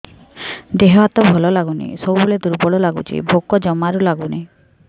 ଦେହ ହାତ ଭଲ ଲାଗୁନି ସବୁବେଳେ ଦୁର୍ବଳ ଲାଗୁଛି ଭୋକ ଜମାରୁ ଲାଗୁନି